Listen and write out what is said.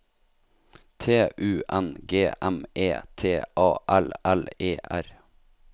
T U N G M E T A L L E R